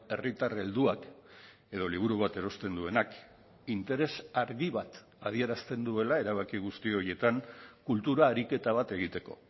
herritar helduak edo liburu bat erosten duenak interes argi bat adierazten duela erabaki guzti horietan kultura ariketa bat egiteko